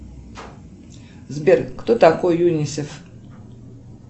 сбер кто такой юнисев